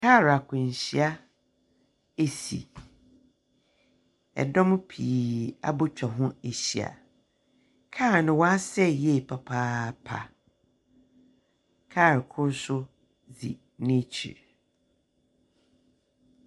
Kaar akwanhyia esi, ɛdɔm pii abotwa ho ahyia. Kaar no wasɛe yie papaapa. Kaar kor so dzi nekyir.